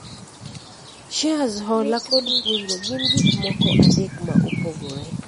shares ,hola kod kungo gin gik moko adek ma opogore